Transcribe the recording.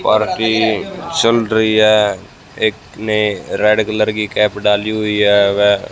party चल रही है एक ने रेड कलर की कैप डाली हुई है वह--